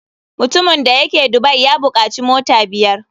Mutumin da yake dubai ya bukaci mota biyar.